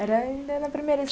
Era ainda na primeira